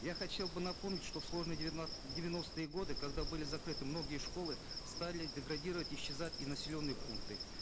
я хотел бы напомнить что в сложные девяностые годы когда были закрыты многие школы стали деградировать и исчезать и населенные пункты